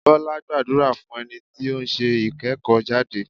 Bọ́lá gbàdúrà fún ẹni tí ó ń ṣe ìkẹ́kọ̀ọ́ jáde.